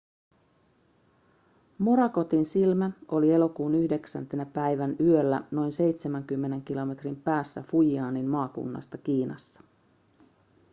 morakotin silmä oli elokuun 9 päivän yöllä noin seitsemänkymmenen kilometrin päässä fujianin maakunnasta kiinassa